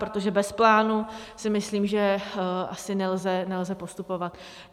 Protože bez plánu si myslím, že asi nelze postupovat.